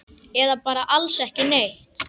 Eða bara alls ekki neitt?